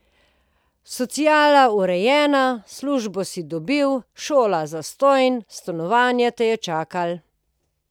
Sociala urejena, službo si dobil, šola zastonj, stanovanje te je čakalo.